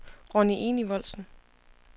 Ronni Enevoldsen